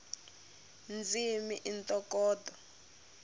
ndzimi i ntokoto